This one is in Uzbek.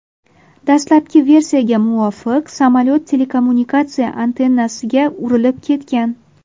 Dastlabki versiyaga muvofiq, samolyot telekommunikatsiya antennasiga urilib ketgan.